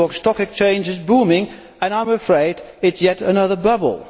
The New York Stock Exchange is booming, but I am afraid it is yet another bubble.